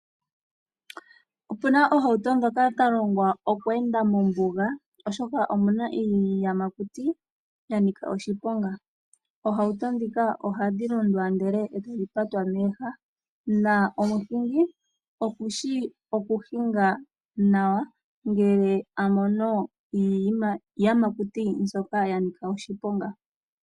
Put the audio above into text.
Ope na iitukutuku mbyoka ya longwa okuenda mombuga, oshoka omu na iiyamakuti ya nika oshiponga. Iitukutuku mbika ohayi londwa ndele e tayi patwa mooha, omuhingi okushi okuhinga nawa ngele a mono iiyamakuti.